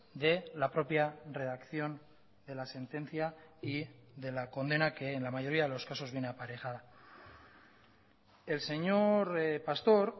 de la propia redacción de la sentencia y de la condena que en la mayoría de los casos viene aparejada el señor pastor